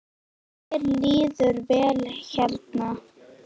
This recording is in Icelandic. Mér líður vel hérna.